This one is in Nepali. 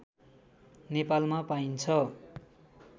नेपालमा पाइन्छ